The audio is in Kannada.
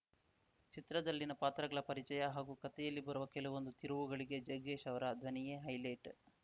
ಚಿತ್ರದಲ್ಲಿನ ಪಾತ್ರಗಳ ಪರಿಚಯ ಹಾಗೂ ಕತೆಯಲ್ಲಿ ಬರುವ ಕೆಲವೊಂದು ತಿರುವುಗಳಿಗೆ ಜಗ್ಗೇಶ್‌ ಅವರ ಧ್ವನಿಯೇ ಹೈಲೈಟ್‌